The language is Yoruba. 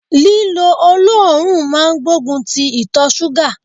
Lílo oloorun máa gbógun ti ìtọ ṣúgà.